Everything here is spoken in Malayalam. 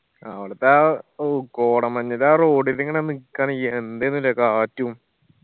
അവിടത്തെ ആ ഓ കോടമഞ്ഞിതാ ആ road ല് ഇങ്ങന നിക്കാണ് എന്തായിന് ല്ലേ കാറ്റും